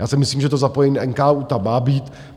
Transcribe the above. Já si myslím, že to zapojení NKÚ tam má být.